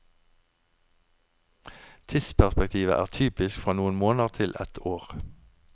Tidsperspektivet er typisk fra noen måneder til et år.